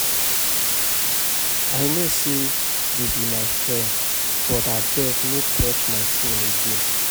I no say you be my friend but abeg no touch my phone again